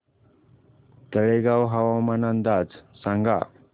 तळेगाव हवामान अंदाज सांगा